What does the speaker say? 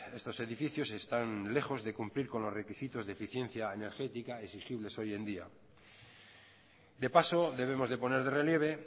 estos edificios están lejos de cumplir con los requisitos de eficiencia energética exigibles hoy en día de paso debemos de poner de relieve